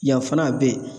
Yan fana a bɛ yen